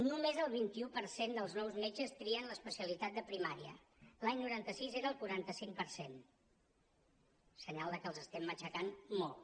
només el vint un per cent dels nous metges trien l’especialitat de primària l’any noranta sis era el quaranta cinc per cent senyal de que els estem matxacant molt